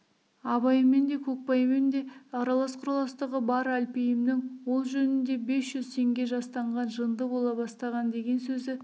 абаймен де көкбаймен де аралас-құраластығы бар әлпейімнің ол жөнінде бес жүз теңге жастанған жынды бола бастаған деген сөзі